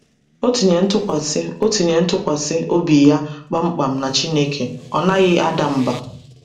O tinyere ntụkwasị O tinyere ntụkwasị obi ya kpamkpam na Chineke, ọ naghị ada mbà.